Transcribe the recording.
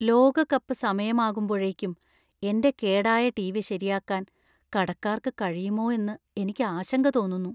ലോകകപ്പ് സമയമാകുമ്പോഴേക്കും എന്‍റെ കേടായ ടിവി ശരിയാക്കാൻ കടക്കാർക്ക് കഴിയുമോ എന്നു എനിക്ക് ആശങ്ക തോന്നുന്നു .